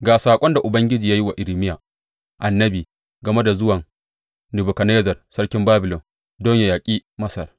Ga saƙon da Ubangiji ya yi wa Irmiya annabi game da zuwan Nebukadnezzar sarkin Babilon don yă yaƙi Masar.